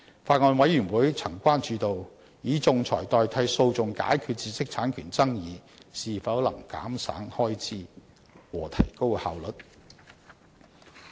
法案委員會曾關注到，以仲裁代替訴訟解決知識產權爭議，是否能減省開支和提高效率。